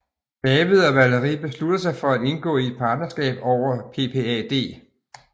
David og Valerie beslutter sig for at indgå i et partnerskab over PPAD